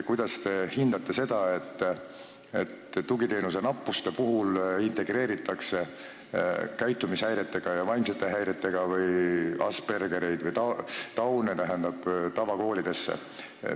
Kuidas te hindate seda, et tugiteenuse nappuse puhul integreeritakse käitumishäiretega ja vaimsete häiretega lapsi või Aspergereid ja Downe tavakooli?